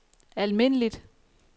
almindeligt